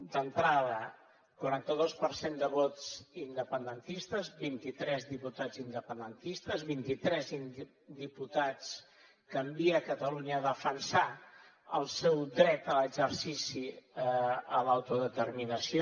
d’entrada quaranta dos per cent de vots independentistes vint i tres diputats independentistes vint i tres diputats que envia catalunya a defensar el seu dret a l’exercici a l’autodeterminació